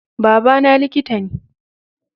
Baba na liƙita ne